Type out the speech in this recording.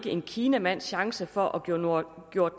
en kinamands chance for at gøre